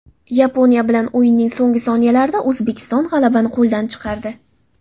Yaponiya bilan o‘yinning so‘nggi soniyalarida O‘zbekiston g‘alabani qo‘ldan chiqardi.